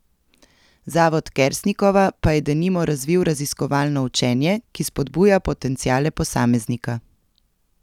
Zavod Kersnikova pa je denimo razvil raziskovalno učenje, ki spodbuja potenciale posameznika.